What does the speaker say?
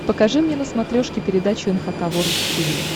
покажи мне на смотрешке передачу эн эйч кей волд ти ви